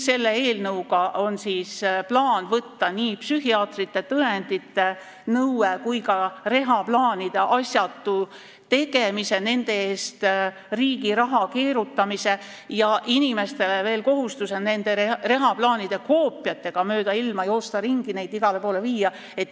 Selle eelnõuga on plaan võtta maha nii psühhiaatri antava tõendi nõue kui ka reha-plaanide asjatu tegemine, et kaoks riigi raha keerutamine ja inimestel kaoks kohustus nende reha-plaanide koopiatega mööda ilma ringi joosta ja neid igale poole viia.